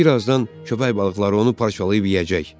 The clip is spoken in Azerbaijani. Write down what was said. Birazdan köpək balıqları onu parçalayıb yeyəcək.